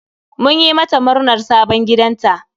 Mun yi mata murnar sabon gidanta